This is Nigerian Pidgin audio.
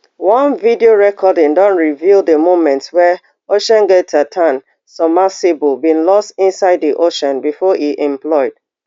one video recording don reveal di moment wey oceangate titan submersible bin loss inside di ocean before e implode